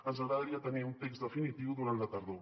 ens agradaria tenir un text definitiu durant la tardor